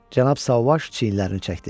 Cənab Sauvage çiyinlərini çəkdi.